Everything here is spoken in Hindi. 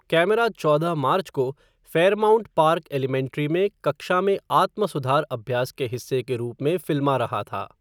कैमरा चौदह मार्च को फ़ेयरमाउंट पार्क एलीमेंट्री में कक्षा में आत्म सुधार अभ्यास के हिस्से के रूप में फ़िल्मा रहा था।